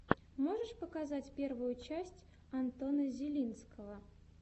можешь показать первую часть антона зелинского